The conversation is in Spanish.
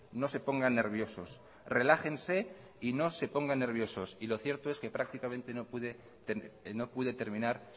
no se pongan nerviosos relájense y no se pongan nerviosos y lo cierto es que prácticamente no pude terminar